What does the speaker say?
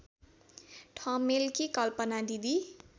ठमेलकी कल्पना दिदी